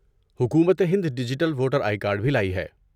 حکومت ہند digital voter I D card بھی لائی ہے۔